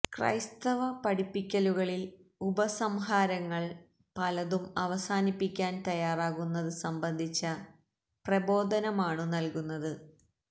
ക്രൈസ്തവ പഠിപ്പിക്കലുകളിൽ ഉപസംഹാരങ്ങൾ പലതും അവസാനിപ്പിക്കാൻ തയ്യാറാകുന്നതു സംബന്ധിച്ച പ്രബോധനമാണു നൽകുന്നത്